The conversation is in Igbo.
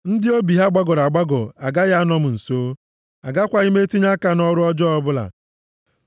Ndị obi ha gbagọrọ agbagọ agaghị anọ m nso. Agakwaghị m etinye aka nʼọrụ ọjọọ ọbụla.